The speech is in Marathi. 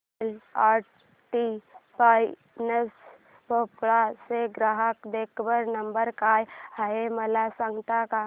L and T finance Bhopal चा ग्राहक देखभाल नंबर काय आहे मला सांगता का